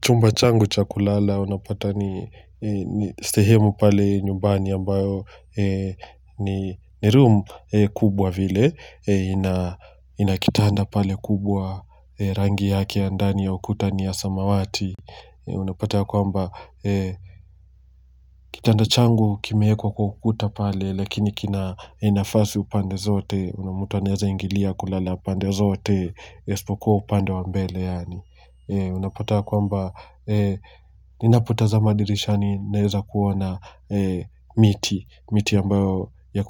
Chumba changu cha kulala unapata ni sehemu pale nyumbani ambayo ni room kubwa vile. Ina kitanda pale kubwa rangi yake ya ndani ya ukuta ni ya samawati. Unapata kwamba kitanda changu kimeekwa kukuta pale lakini kina nafasi upande zote na mtu anaeza ingilia kulala pande zote. Isipokuwa upande wa mbele yaani unapata kwamba ninapotazama dirishani naeza kuona miti. Miti ambayo ya